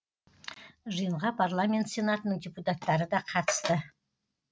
жиынға парламент сенатының депутаттары да қатысты